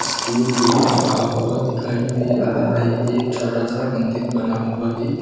Stool भी रखा हुआ दिखाई दे रहा है। एक छोटा सा मंदिर बना हुआ भी दि --